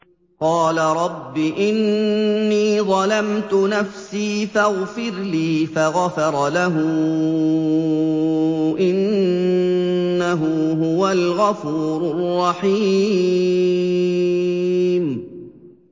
قَالَ رَبِّ إِنِّي ظَلَمْتُ نَفْسِي فَاغْفِرْ لِي فَغَفَرَ لَهُ ۚ إِنَّهُ هُوَ الْغَفُورُ الرَّحِيمُ